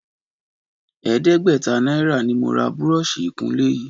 Ẹ̀ẹ́dẹ́gbẹ̀ta náírà ni mo ra búrọ́ọ̀ṣì ìkunlé yìí